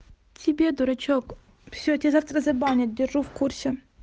тебе дурачок все тебя завтра забанят держу в курсе